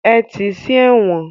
Ẹ ti sí ẹ̀wọ̀n!